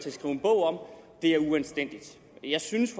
at skrive en bog om er uanstændigt jeg synes